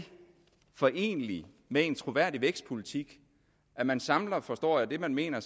foreneligt med en troværdig vækstpolitik at man samler forstår jeg det man mener